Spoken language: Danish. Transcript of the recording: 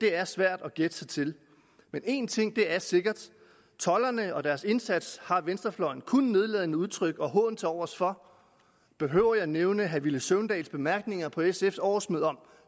er svært at gætte sig til men en ting er sikkert tolderne og deres indsats har venstrefløjen kun nedladende udtryk og hån tilovers for behøver jeg at nævne herre villy søvndals bemærkninger på sfs årsmøde om